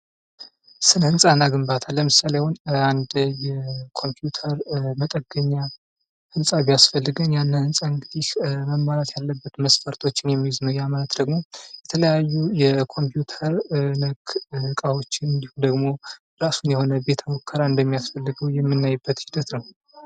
ስነ-ህንፃ እና ግንባታ ለምሳሌ አሁን አንድ የኮምፕዩተር መጠገኛ ህንፃ ቢያስፈልገን ያንን ህንፃ እንግዲህ መሟላት ያለበት መስፈርቶችን የሚይዝ ነው ያ ማለት ደግሞ የተለያዩ የኮምፕዩተር ነክ እቃዎች እንዲሁም ደግሞ የእራሱ የሆነ ቤት ሙከራ እንደሚያስፈልገን የምናይበት ሒደት ነው።